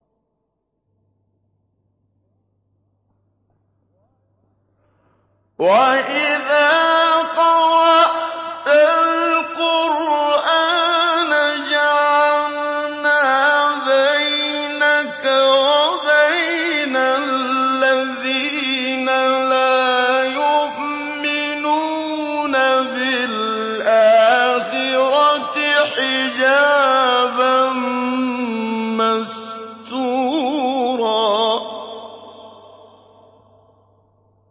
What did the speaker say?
وَإِذَا قَرَأْتَ الْقُرْآنَ جَعَلْنَا بَيْنَكَ وَبَيْنَ الَّذِينَ لَا يُؤْمِنُونَ بِالْآخِرَةِ حِجَابًا مَّسْتُورًا